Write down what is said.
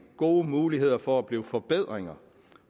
gode muligheder for at blive til forbedringer